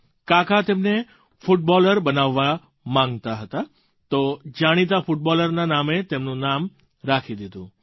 કાકા તેમને ફૂટબૉલર બનાવવા માગતા હતા તો જાણીતા ફૂટબૉલરના નામે તેમનું નામ રાખી દીધું